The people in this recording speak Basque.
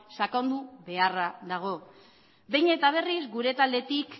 sakondu beharra dago behin eta berriz gure taldetik